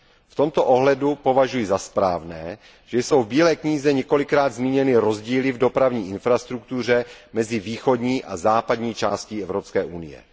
V tomto ohledu považuji za správné, že jsou v bílé knize několikrát zmíněny rozdíly v dopravní infrastruktuře mezi východní a západní částí Evropské unie.